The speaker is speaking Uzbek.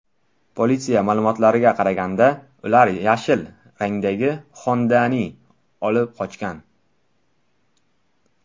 Politsiya ma’lumotlariga qaraganda, ular yashil rangdagi Honda’ni olib qochgan.